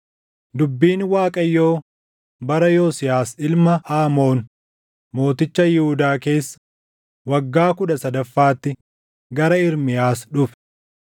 Dubbiin Waaqayyoo bara Yosiyaas ilma Aamoon mooticha Yihuudaa keessa waggaa kudha sadaffaatti gara Ermiyaas dhufe;